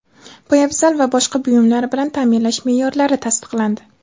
poyabzal va boshqa buyumlar bilan taʼminlash meʼyorlari tasdiqlandi.